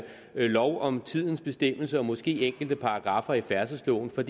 lov om tidens bestemmelse og måske enkelte paragraffer i færdselsloven for